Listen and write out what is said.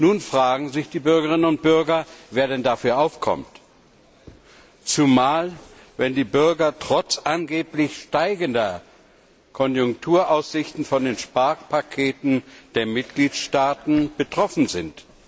Nun fragen sich die Bürgerinnen und Bürger, wer denn dafür aufkommt, zumal wenn die Bürger trotz angeblich besserer Konjunkturaussichten von den Sparpaketen der Mitgliedstaaten betroffen sind.